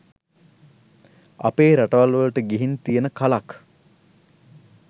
අපේ රටවල් වලට ගිහින් තියෙන කලක්.